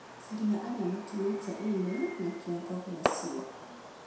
Caria arĩa matũmĩte i-mīrū na kiongo gĩacio